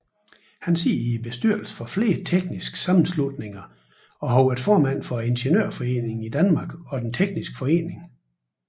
Han sidder i bestyrelsen for flere tekniske sammenslutninger og har været formand for Ingeniørforeningen i Danmark og Den tekniske Forening